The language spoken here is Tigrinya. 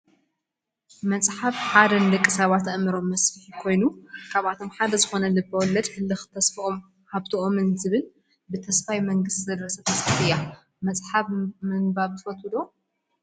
መፅሓፍ ሓደ ንደቂ ሰባት ኣእምሮ መስፊሒ ኮይኑ ካብኣቶም ሓደ ዝኮነ ልቢ ወለድ ህልክ ተስፎምን ሃብቶምን ዝብል ብተስፋይ መንግስ ዝተደረሰት መፅሓፍ እያ። መፅሓፍ ምንባብ ትፈትው ዶ ?